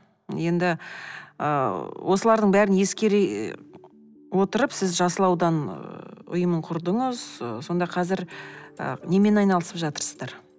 енді ыыы осылардың бәрін ескере отырып сіз жасыл аудан ы ұйымын құрдыңыз сонда қазір ы немен айналысып жатырсыздар